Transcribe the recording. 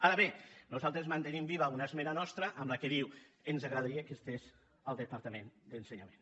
ara bé nosaltres mantenim viva una esmena nostra que diu ens agradaria que hi fos el departament d’ensenyament